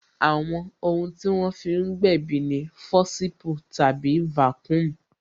Àwọn ohun tí wọ́n fi ń gbèbí ni fọsipu tàbí vaccumy